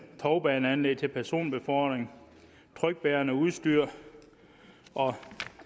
tovbaneanlæg til personbefordring trykbærende udstyr og